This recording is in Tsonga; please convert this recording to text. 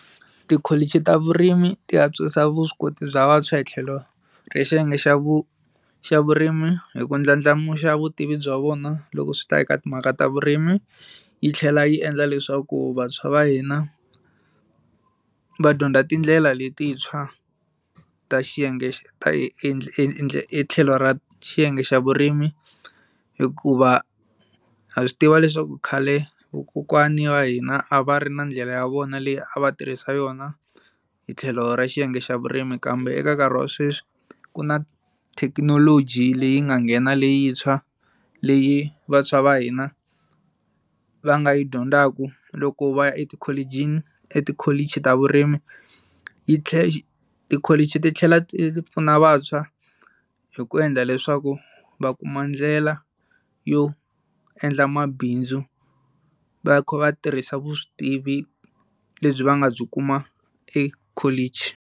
Tikholichi ta vurimi ti antswisa vuswikoti bya vantshwa hi tlhelo ra xiyenge xa vu xa vurimi hi ku ndlandlamuxa vutivi bya vona loko swi ta eka timhaka ta vurimi yi tlhela yi endla leswaku vantshwa va hina va dyondza tindlela letintshwa ta xiyenge hi tlhelo ra xiyenge xa vurimi hikuva ha swi tiva leswaku khale vakokwana wa hina a va ri na ndlela ya vona leyi a va tirhisa yona hi tlhelo ra xiyenge xa vurimi kambe eka nkarhi wa sweswi ku na thekinoloji leyi nga nghena leyintshwa leyi vantshwa va hina va nga yi dyondzaka loko va ya etikholichi, etikholichi ta vurimi yi tlhela tikholichi titlhela ti pfuna vantshwa hi ku endla leswaku va kuma ndlela yo endla mabindzu va kha va tirhisa vutivi lebyi va nga byi kuma ekholichi.